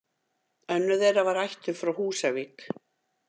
Önnur þeirra var ættuð frá Húsavík.